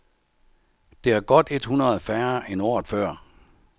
Det er godt et hundrede færre end året før.